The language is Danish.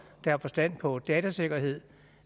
der har forstand på datasikkerhed